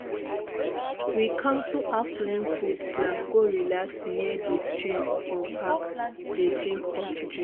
we cancel afternoon food plan go relax near di stream for park dey drink hot drink.